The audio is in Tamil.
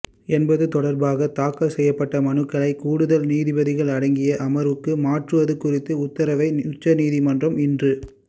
என்பது தொடா்பாக தாக்கல் செய்யப்பட்ட மனுக்களை கூடுதல் நீதிபதிகள் அடங்கிய அமா்வுக்கு மாற்றுவது குறித்த உத்தரவை உச்சநீதிமன்றம் இன்று